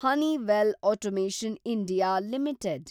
Honeywell automation India limited